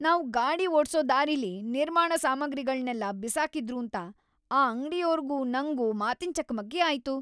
ನಾವ್‌ ಗಾಡಿ ಓಡ್ಸೋ ದಾರಿಲಿ ನಿರ್ಮಾಣ ಸಾಮಗ್ರಿಗಳ್ನೆಲ್ಲ ಬಿಸಾಕಿದ್ರೂಂತ ಆ ಅಂಗ್ಡಿಯೋರ್ಗೂ ನಂಗೂ ಮಾತಿನ್ ಚಕಮಕಿ ಆಯ್ತು.